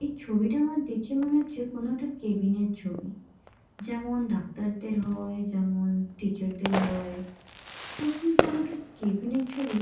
এই ছবিটা আমার দেখে মনে হচ্ছে কোনো একটা কেবিন -এর ছবি। যেমন ডাক্তারদের হয় যেমন টিচার -দের হয় ওড়ামি কোনো একটা কেবিন -এর ছবি।